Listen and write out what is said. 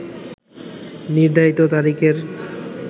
নির্ধারিত তারিখের